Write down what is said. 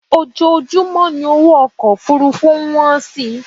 Ojoojúmọ́ ni owó ọkọ Òfurufú ń wọ́n si